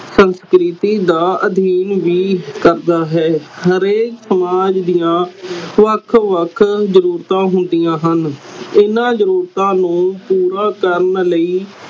ਸੰਸਕ੍ਰਿਤੀ ਦਾ ਅਧੀਨ ਵੀ ਕਰਦਾ ਹੈ ਹਰੇਕ ਸਮਾਜ ਦੀਆ ਵੱਖ ਵੱਖ ਜ਼ਰੂਰਤਾਂ ਹੁੰਦੀਆਂ ਹਨ ਇਹਨਾਂ ਜ਼ਰੂਰਤਾਂ ਨੂੰ ਪੂਰਾ ਕਰਨ ਲਈ